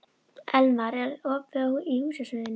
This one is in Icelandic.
Elmar, er opið í Húsasmiðjunni?